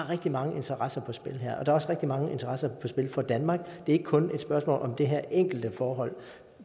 rigtig mange interesser på spil her og der er også rigtig mange interesser på spil for danmark det er ikke kun et spørgsmål om det her enkelte forhold